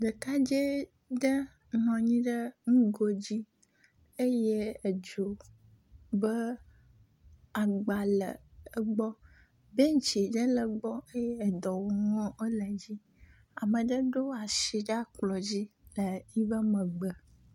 Ɖekadze aɖe nɔ anyi ɖe nugo dzi eye edzo be agba le egbɔ. Bentsi ɖe le egbɔ eye dɔwɔnuwo le edzi. Ame aɖe ɖo wo asi ɖe kplɔ di le yiƒe megbe.